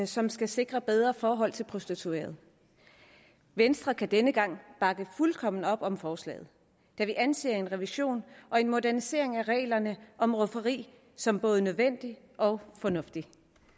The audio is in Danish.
som skal sikre bedre forhold til prostituerede venstre kan denne gang bakke fuldkommen op om forslaget da vi anser en revision og en modernisering af reglerne om rufferi som både nødvendige og fornuftige